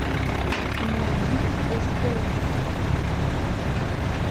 найди стс